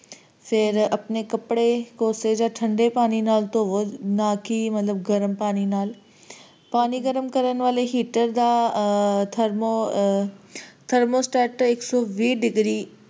ਤੇ ਫੇਰ ਆਪਣੇ ਕਪੜੇ ਕੋਸੇ ਜਾ ਠੰਡੇ ਪਾਣੀ ਨਾਲ ਧੋਵੋ ਨਾ ਕਿ ਮਤਲਬ ਗਰਮ ਪਾਣੀ ਨਾਲ ਪਾਣੀ ਗਰਮ ਕਰਨ ਵਾਲੇ heater ਦਾ temperature ਇੱਕ ਸੌ ਵੀਹ degree